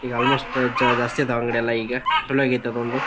ಈಗ ಆಲ್ಮೋಸ್ಟ್ ಜ ಜಾಸ್ತಿ ಆದವ ಅಂಗಡಿ ಎಲ್ಲ ಈಗ. ಚೊಲೊ ಆಗೇತ್ ಅದೊಂದು.